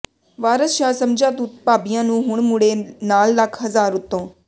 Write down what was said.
ਵਾਰਸ ਸ਼ਾਹ ਸਮਝਾ ਤੂੰ ਭਾਬੀਆਂ ਨੂੰ ਹੁਣ ਮੁੜੇ ਨਾਲ ਲਖ ਹਜ਼ਾਰ ਉੱਤੋਂ